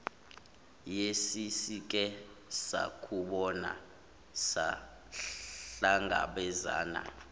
yesesike sakubona sahlangabezana